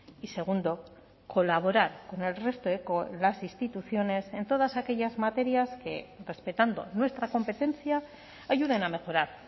y segundo colaborar con el resto de las instituciones en todas aquellas materias que respetando nuestra competencia ayuden a mejorar